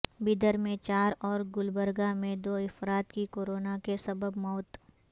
بیدر میں چار اور گلبرگہ میں دو افراد کی کوروناکے سبب موت